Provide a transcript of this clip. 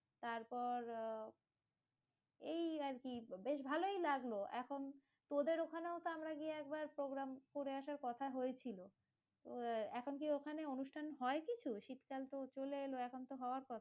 তারপর আহ, এই আরকি বেশ ভালোই লাগলো এখন, তোদের ওখানেও তো আমরা গিয়ে একবার programme করে আসার কথা হয়েছিল, এখন কি ওখানে অনুষ্ঠান হয় কিছু? শীতকাল তো চলে এলো, এখন তো হওয়ার কথা?